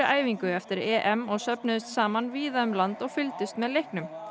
æfingu eftir EM og söfnuðust saman víða um land og fylgdust með leiknum